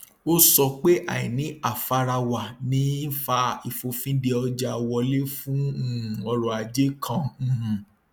ó sọ pé àìní àfarawà ní fa ìfòfinde ọjà wọlé fún um ọrọ ajé kan um